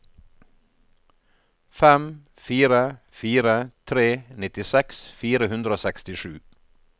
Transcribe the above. fem fire fire tre nittiseks fire hundre og sekstisju